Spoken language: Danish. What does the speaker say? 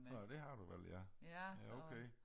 Nej det har du vel ja ja okay